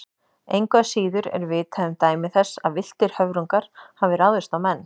Engu að síður er vitað um dæmi þess að villtir höfrungar hafi ráðist á menn.